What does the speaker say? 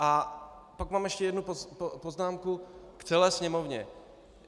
A pak mám ještě jednu poznámku k celé sněmovně.